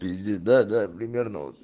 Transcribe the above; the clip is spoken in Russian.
пиздец да да примерно вот